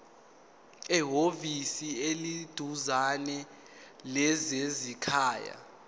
ehhovisi eliseduzane lezasekhaya